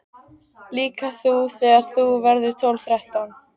Líka þú þegar þú verður tólf, þrettán.